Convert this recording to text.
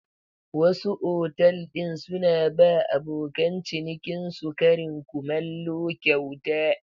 Wasu otal ɗin suna ba abokan cinikinsu karin kumallo kyauta.